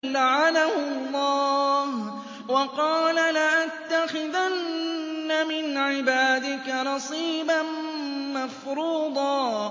لَّعَنَهُ اللَّهُ ۘ وَقَالَ لَأَتَّخِذَنَّ مِنْ عِبَادِكَ نَصِيبًا مَّفْرُوضًا